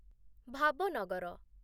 Bhavnagar